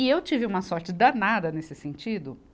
E eu tive uma sorte danada nesse sentido.